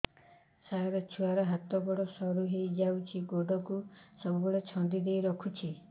ସାର ଛୁଆର ହାତ ଗୋଡ ସରୁ ହେଇ ଯାଉଛି ଗୋଡ କୁ ସବୁବେଳେ ଛନ୍ଦିଦେଇ ରଖୁଛି